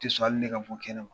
tɛ sɔn hali ne ka bɔ kɛnɛma